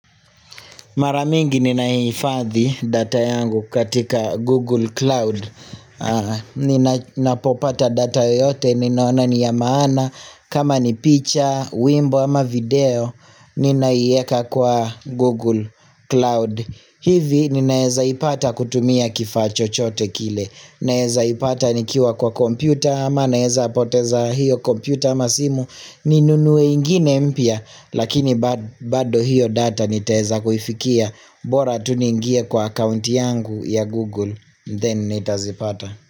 Mara mingi ninaye hifadhi data yangu katika Google Cloud Nina popata data yote ninaona niya maana kama ni picha wimbo ama video Ninaieka kwa Google Cloud hivi ninaeza ipata kutumia kifaa chochote kile Ninaeza ipata nikiwa kwa kompyuta ama ninaeza poteza hiyo kompyuta ama simu Ninunuwe ingine mpya Lakini ba bado hiyo data niteza kufikia bora tu ningie kwa account yangu ya Google Then nitazipata.